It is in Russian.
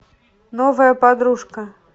новая подружка